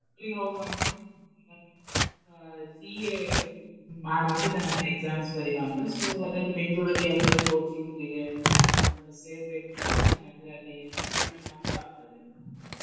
ಹೋಗುವ ಅಂತ ಇತ್ತು ಈಗ CA ಮಾಡುವ ಅಂತ ಇದಾನದ್ರ exam ಬರಿಯುವ ಅಂತ. So ಅದ್ಕೆ Bangalore ನಲ್ಲಿ ಯಾವದಾದ್ರು coaching ಗೆ ಸೇರ್ಬೇಕು ಅಂತ ಇದ್ದಾನೆ ಅಂದ್ರೆ ಅಲ್ಲಿ ಅಜ್ಜಿ ಮನೆ ಹತ್ರ ಆಗ್ತದೆ.